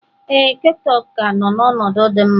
Ee, ketchup ka nọ n'ọnọdụ dị mma